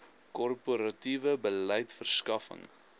korporatiewe beleid verskaffing